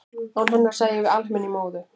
án hennar sæjum við alheiminn í móðu